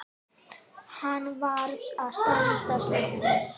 Hann varð að standa sig.